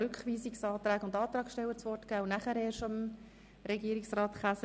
Ich möchte jetzt zuerst allen Antragsstellern das Wort geben und erst danach Regierungsrat Käser.